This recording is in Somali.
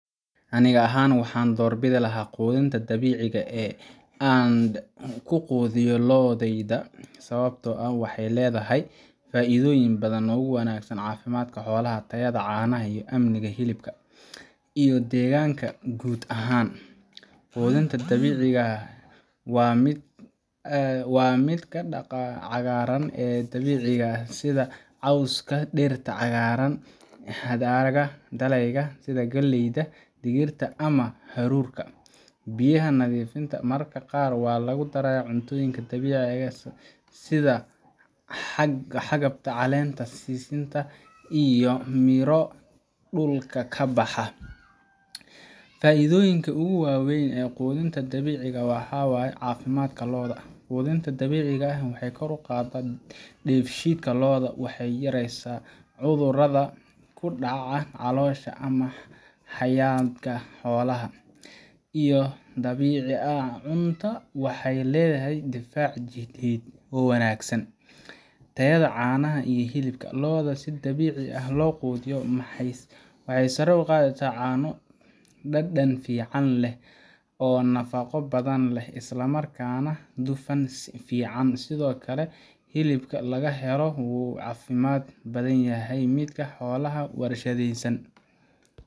Anika ahaan waxan duurbitha lahabqoothinta dabicika ee an kuqothiyoh looda sawabtaa oo waxay leedahay faithoyin bathan oo uwanagsan cafimadka xoolaha tayada, canaha iyo amnika iyo helibka iyo deganga kuud ahaan quthintabdabicika aah wa mid cagaran dabecika setha xooska deerka cagaran cadcada daleyga setha kalyda, digirtaa amah hakoorta biyaha nathifenta mararka qaar wa Ina lagudaraya cuntoyinka dabicika setha xagabta caleenta sintaviyo miiro dula kabaxaa faithoyinka ugu waweyn ee qothinta dabicika waxaywaye cafimad loodaha quthintaa dabicika waxa kor u qaadah, bensheetga loodah waxay yareysah cuthurada kudacan caloshÃ amah xayanga xolaha waxaly leedahay tayada xolaha handi sidebici lo qoothiyoh waxay sare u qatheysah cano dadan fican leeh oo nafaqo bathan leeh islamarkana duufan fican setho Kali helibka laga heloh wuu cafimad bathanyahay midka xolaha warshadeysan .